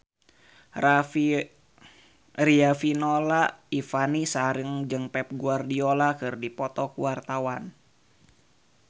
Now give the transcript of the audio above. Riafinola Ifani Sari jeung Pep Guardiola keur dipoto ku wartawan